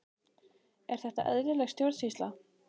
Er þetta eðlileg stjórnsýsla?